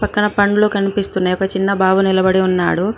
ఇక్కడ పండ్లు కనిపిస్తున్నాయ్ ఒక చిన్న బాబు నిలబడి ఉన్నాడు.